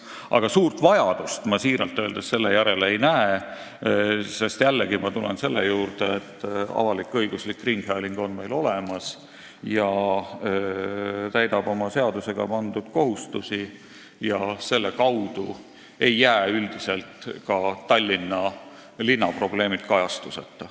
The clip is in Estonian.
Aga suurt vajadust ma siiralt öeldes selle järele ei näe, sest, jällegi, meil on olemas avalik-õiguslik ringhääling, mis täidab oma seadusega pandud kohustusi, ja selle kaudu ei jää üldiselt ka Tallinna linna probleemid kajastuseta.